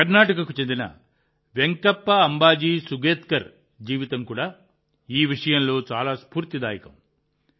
కర్ణాటకకు చెందిన వెంకప్ప అంబాజీ సుగేత్కర్ జీవితం కూడా ఈ విషయంలో చాలా స్ఫూర్తిదాయకం